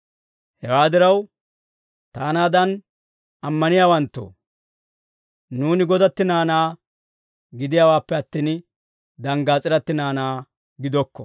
Hewaa diraw, taanaadan ammaniyaawanttoo, nuuni godatti naanaa gidiyaawaappe attin, danggaas'iratti naanaa gidokko.